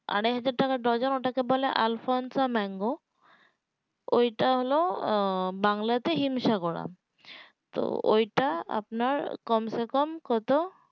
আড়াই হাজার টাকা ডর্জন যেটাকে বলে aafanso mango ওটা হলো বাংলাতে হিমসাগর আম তো ঐটা আপনার কমসেকম কত